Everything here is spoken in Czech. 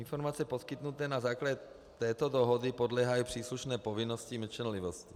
Informace poskytnuté na základě této dohody podléhají příslušné povinnosti mlčenlivosti.